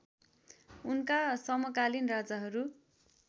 उनका समकालीन राजाहरू